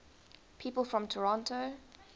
people from toronto